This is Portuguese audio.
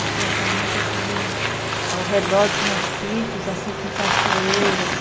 A gente gostava muito, assim, de... Ao redor tinha sítios, assim, com cachoeiras.